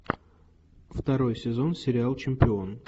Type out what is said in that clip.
второй сезон сериал чемпион